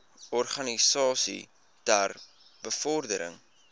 organisasies ter bevordering